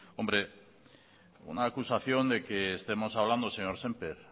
hombre una acusación de que estemos hablando señor sémper